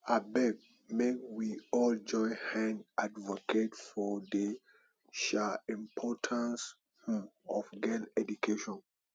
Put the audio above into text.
abeg make we all join hand advocate for the um importance um of girl education